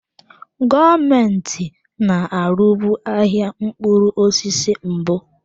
Gọọmenti na-arụbu ahịa mkpụrụ osisi mbụ.